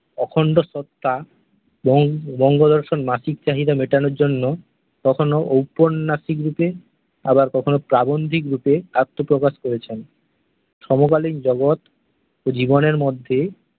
অখণ্ড স্রষ্টা বঙ্গদর্শন মাসিক চাহিদা মেটানোর জন্য কখনও ঔপন্যাসিক রূপে, আবার কখনও প্রাবন্ধিক রূপে আত্মপ্রকাশ করেছেন। সমকালীন জগৎ জীবনের মধ্যে